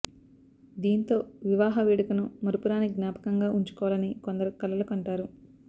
దీంతో వివాహ వేడుకను మరుపురాని జ్ఞాపకంగా ఉంచుకోవాలని కొందరు కలలు కంటారు